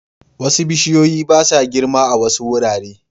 Wasu bishiyoyi ba sa girma a wasu wurare